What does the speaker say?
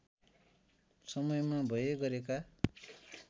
समयमा भए गरेका